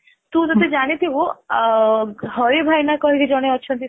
ତୁ ଯଦି ଜାଣି ଥିବୁ ଅ ହରି ଭାଇନା କହି କି ଜଣେ ଅଛନ୍ତି ସେଇଠି